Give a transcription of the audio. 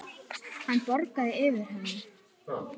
Hann bograði yfir henni.